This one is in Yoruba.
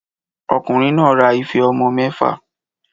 Ọkùnrin náà ra ife ọmọ mẹ́fà